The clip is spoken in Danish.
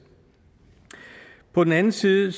på den anden side